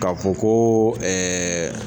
K'a fɔ ko